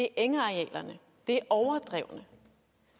engarealerne det er overdrevene